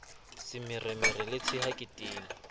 semeremere le tshea ke tene